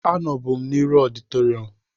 Anọbu m n'iru ọditorịum